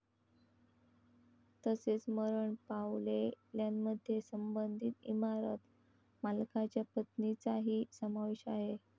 तसेच मरण पावलेल्यांमध्ये संबंधित इमारत मालकाच्या पत्नीचाही समावेश आहे.